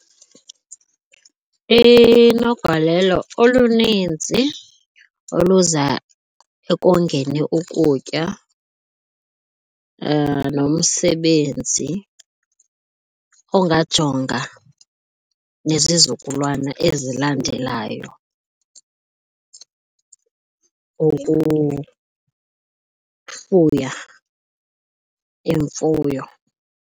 Inogalelo oluninzi oluza ekongeni ukutya nomsebenzi ungajonga nezizukulwana ezilandelayo ukufuya imfuyo.